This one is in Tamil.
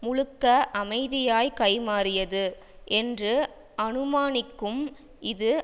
முழுக்க அமைதியாய் கைமாறியது என்று அனுமானிக்கும் இது